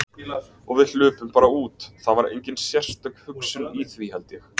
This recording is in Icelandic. Og við hlupum bara út, það var engin sérstök hugsun í því, held ég.